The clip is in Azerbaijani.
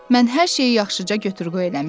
Mən hər şeyi yaxşıca götür-qoy eləmişəm.